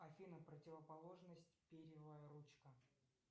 афина противоположность перьевая ручка